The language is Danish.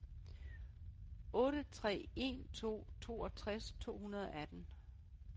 otte tre en to toogtres to hundrede og atten